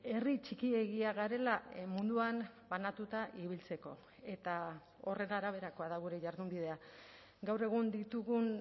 herri txikiegia garela munduan banatuta ibiltzeko eta horren araberakoa da gure jardunbidea gaur egun ditugun